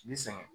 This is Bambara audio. I bi sɛgɛn